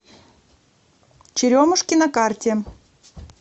черемушки на карте